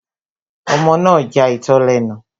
Ọmọ náà ja itọ́ lẹ́nu